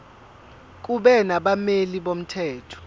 kube nabameli bomthetho